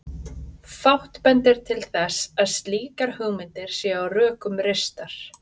Fátt bendir til þess að slíkar hugmyndir séu á rökum reistar.